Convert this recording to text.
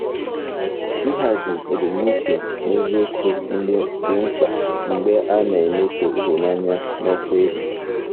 Ịhazi ebumnuche na eziokwu dị mkpa mgbe a na-emeso ịhụnanya n'ọkwa elu.